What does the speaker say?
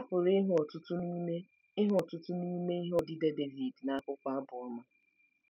A pụrụ ịhụ ọtụtụ n’ime ịhụ ọtụtụ n’ime ihe odide Devid n’akwụkwọ Abụ Ọma.